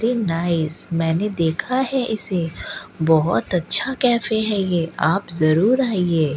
Very nice मैंने देखा है इसे बहुत अच्छा कैफे है ये आप जरूर आइए।